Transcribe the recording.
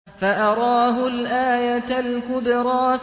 فَأَرَاهُ الْآيَةَ الْكُبْرَىٰ